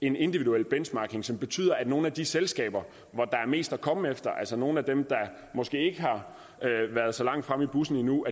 en individuel benchmarking som betyder at nogle af de selskaber hvor der er mest at komme efter altså nogle af dem der måske ikke har været så langt fremme i bussen endnu